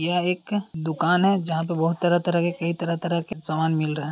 यह एक दुकान है जहां पे बोहत तरह तरह के कई तरह तरह के सामान मिल रहे है।